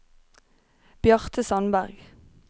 Bjarte Sandberg